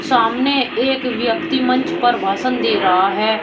सामने एक व्यक्ति मंच पर भाषण दे रहा है।